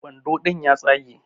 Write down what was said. Wando ɗin ya tsage